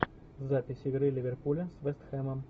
запись игры ливерпуля с вест хэмом